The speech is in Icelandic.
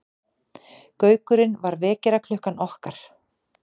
Gaukurinn var vekjaraklukkan okkar.